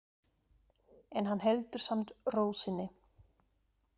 En hann heldur samt ró sinni.